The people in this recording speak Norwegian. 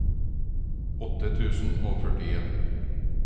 åtte tusen og førtien